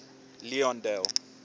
leondale